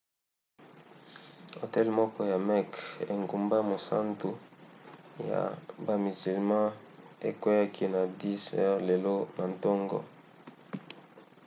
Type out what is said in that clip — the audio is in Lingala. hotel moko ya mecque engumba mosantu ya bamizilma ekweaki na 10 h lelo na ntongo